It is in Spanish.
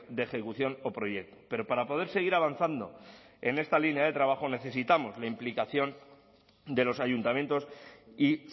de ejecución o proyecto pero para poder seguir avanzando en esta línea de trabajo necesitamos la implicación de los ayuntamientos y